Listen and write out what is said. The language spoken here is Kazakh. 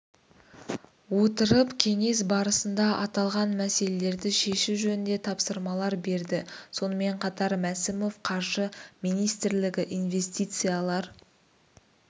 отырып кеңес барысында аталған мәселелерді шешу жөнінде тапсырмалар берді сонымен қатар мәсімов қаржы министрлігі инвестициялар